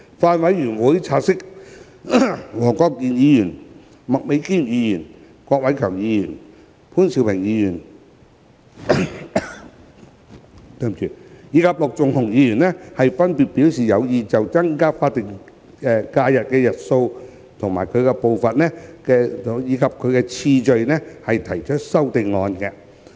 法案委員會察悉，黃國健議員、麥美娟議員、郭偉强議員、潘兆平議員及陸頌雄議員分別表示有意就增加法定假日日數的步伐及次序提出修正案。